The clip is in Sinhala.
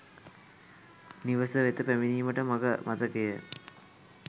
නිවස වෙත පැමිණීමට මඟ මතක ය